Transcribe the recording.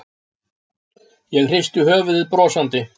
Ég hristi höfuðið brosandi.